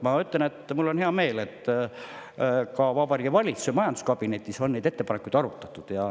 Ma juba ütlesin, et mul on hea meel, et ka Vabariigi Valitsuse majanduskabinetis on neid ettepanekuid arutatud.